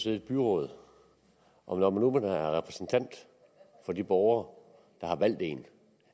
i et byråd og når nu man er repræsentant for de borgere der har valgt en